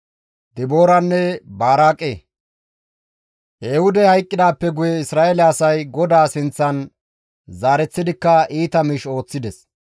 Ehuudey hayqqidaappe guye Isra7eele asay GODAA sinththan zaareththidikka iita miish ooththides.